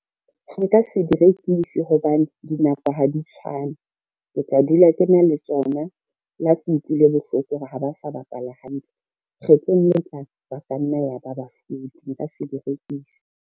Nka se di rekise hobane dinako ha di tshwane. Ke tla dula ke na le tsona le ha ke utlwile bohloko hore ha ba sa bapala hantle, kgetlong let tlang ba ka nna ya ba bahlodi nka se di rekise.